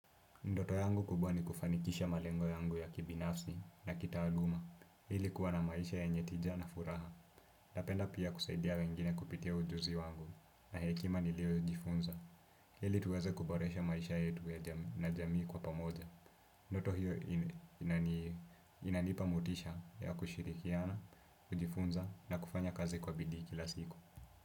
Ndoto yangu kubwa ni kufanikisha malengo yangu ya kibinafsi na kitaaluma. Hili kuwa na maisha ye nyetija na furaha. Napenda pia kusaidia wengine kupitia ujuzi wangu. Na hekima ni lio ujifunza. Hili tuweze kuboresha maisha yetu na jamii kwa pamoja. Ndoto hiyo inanipa motisha ya kushirikiana, kujifunza na kufanya kazi kwa bidii kila siku.